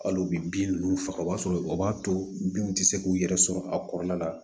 Hali u bɛ bin ninnu faga o b'a sɔrɔ o b'a to binw tɛ se k'u yɛrɛ sɔrɔ a kɔnɔna la